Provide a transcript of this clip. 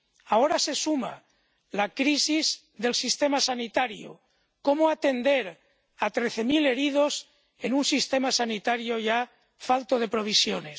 Ahora se suma la crisis del sistema sanitario cómo atender a trece mil heridos en un sistema sanitario ya falto de provisiones.